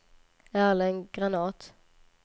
Erling Granath